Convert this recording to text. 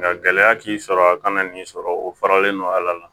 Nka gɛlɛya k'i sɔrɔ a kana nin sɔrɔ o faralen no ala